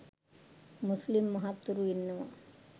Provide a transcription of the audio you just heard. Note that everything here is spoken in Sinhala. මුස්ලිම් මහත්වරු ඉන්නවා.